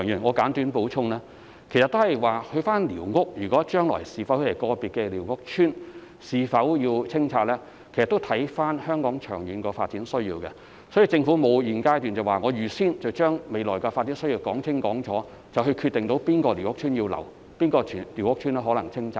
我簡短作補充，關於個別寮屋區將來是否要清拆的問題，其實須視乎香港長遠的發展需要，故此在現階段，政府不會預先說清楚未來的發展，以及決定要保留或清拆哪個寮屋區。